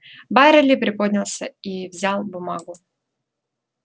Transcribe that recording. байерли приподнялся и взял бумагу